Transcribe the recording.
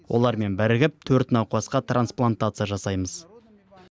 олармен бірігіп төрт науқасқа трансплантация жасаймыз